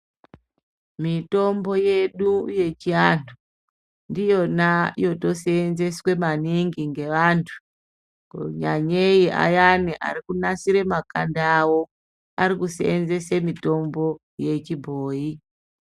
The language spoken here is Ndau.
Mitombo yedu yechianhu ndiyona yotosenzeswe maningi ngevantu. Kunyanyei ayeni ari kunasira makanda vavo ari kusenzese mutombo yechibhoyi.